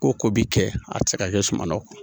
Ko ko bi kɛ a ti se ka kɛ suman kɔrɔ